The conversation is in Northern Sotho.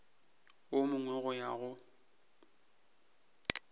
wo mongwe go ya go